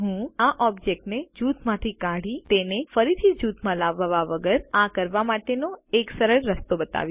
હું ઓબ્જેક્ટ ને જૂથમાંથી કાઢી તેને ફરીથી જૂથમાં લાવવા વગર આ કરવા માટેનો એક સરળ રસ્તો બતાવીશ